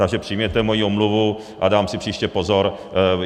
Takže přijměte moji omluvu a dám si příště pozor.